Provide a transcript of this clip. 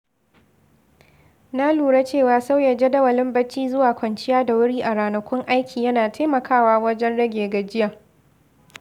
Na lura cewa sauya jadawalin bacci zuwa kwanciya da wuri a ranakun aiki yana taimakawa wajen rage gajiya.